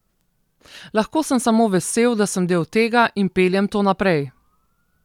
Lahko sem samo vesel, da sem del tega in peljem to naprej.